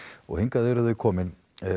og hingað eru þau komin